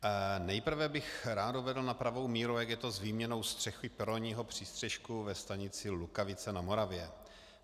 Nejprve bych rád uvedl na pravou míru, jak je to s výměnou střechy peronního přístřešku ve stanici Lukavici na Moravě.